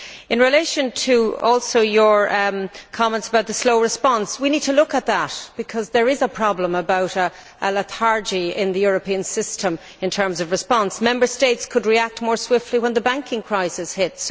In relation to your comments about the slow response, we need to look at that because there is the problem of a lethargy in the European system in terms of response. Member States could have reacted more swiftly when the banking crisis hit.